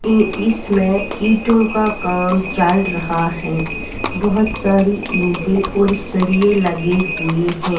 ऐ इसमें इटो का काम चल रहा है और बहोत सारी इटे और सरिये लगे हुए है।